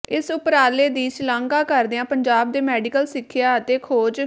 ਇਸ ਉਪਰਾਲੇ ਦੀ ਸ਼ਲਾਘਾ ਕਰਦਿਆਂ ਪੰਜਾਬ ਦੇ ਮੈਡੀਕਲ ਸਿੱਖਿਆ ਅਤੇ ਖੋਜ